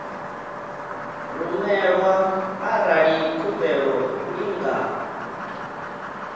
rumelwa arali khumbelo i nga